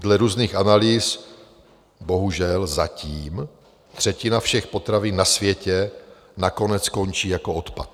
Dle různých analýz bohužel zatím třetina všech potravin na světě nakonec skončí jako odpad.